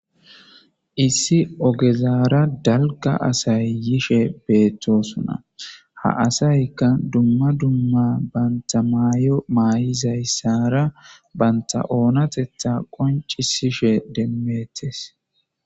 Issi ogezaara dalga asay yishe beetoosona.ha assayka duma duma banta maayo maayizaysara banta oonateta qonccisishe demeetes.